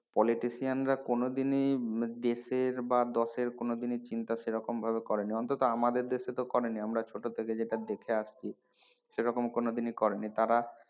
Politician রা কোনোদিনই দেশের বা দশের কোনোদিনই চিন্তা সেরকমভাবে করেনি অন্তত আমাদের দেশে তো করেনি আমরা ছোট থেকে যেটা দেখে আসছি সেরকম কোনোদিনই করেনি,